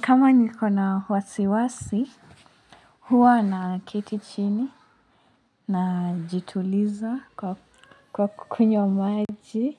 Kama niko na wasiwasi, huwa na keti chini na jituliza kwa kukunywa maji.